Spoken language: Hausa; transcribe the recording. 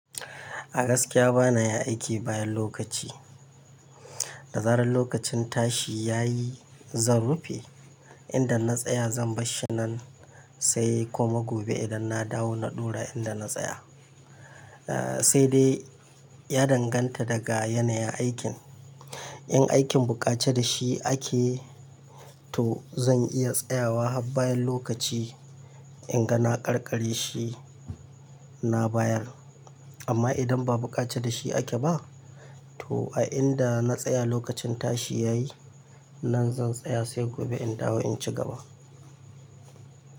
A gaskiya bana yin aiki bayan lokaci. Da zarar lokacin tashi ya yi, zan rufe. Inda na tsaya zan barshi nan sai kuma gobe idan na dawo na ɗora inda na tsaya. Eh, sai dai ya danganta daga yanayin aikin. In aikin buƙace da shi ake, to zan iya tsayawa har bayan lokaci in ga na ƙarkare shi na bayar. Amma idan ba buƙace da shi ake ba, to a inda na tsaya lokacin tashi ya yi, nan zan tsaya sai gobe in dawo in cigaba.